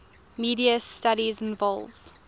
media studies involves